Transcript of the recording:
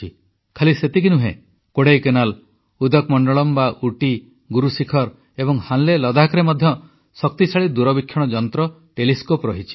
ଖାଲି ସେତିକି ନୁହେଁ କୋଡ଼ାଇକାନାଲ ଉଦକମଣ୍ଡଳମ୍ ବା ଉଟି ଗୁରୁଶିଖର ଏବଂ ହାନ୍ଲେ ଲଦାଖରେ ମଧ୍ୟ ଶକ୍ତିଶାଳୀ ଦୂରବୀକ୍ଷଣ ଯନ୍ତ୍ର ଅଛି